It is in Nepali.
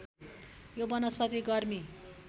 यो वनस्पति गर्मी